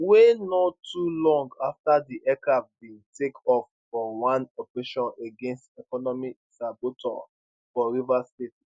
wey no too long afta di aircraft bin take off for one operation against economic saboteurs for rivers state